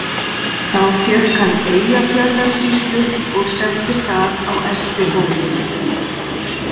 Þá fékk hann Eyjafjarðarsýslu og settist að á Espihóli.